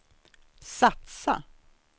satsa